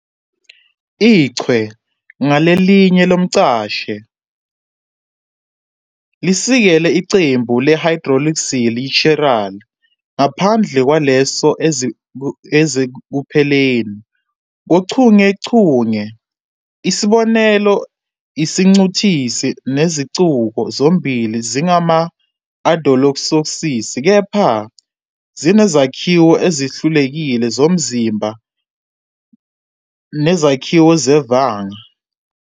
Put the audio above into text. Ichwe ngalinye lomcalahle lisekela iqembu le"hydroxyl yi-chiral", ngaphandle kwalezo ezisekupheleni kochungechunge. Isibonelo, isiNcintusi nesiNcishuko zombili zingama-"aldohexoses", kepha zinezakhiwo ezihlukile zomzimba nezakhiwo zevanga.